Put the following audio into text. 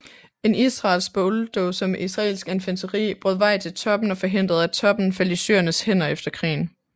En israelsk bulldozer med israelsk infanteri brød vej til toppen og forhindrede at toppen faldt i syrernes hænder efter krigen